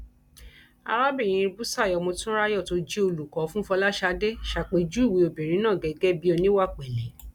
arábìnrin busari motunrayo tó jẹ olùkọ fún fọlásadé ṣàpèjúwe obìnrin náà gẹgẹ bíi oníwàpele